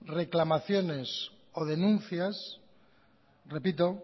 reclamaciones o denuncias repito